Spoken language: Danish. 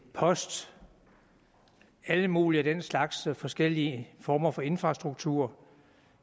post alle mulige af den slags forskellige former for infrastruktur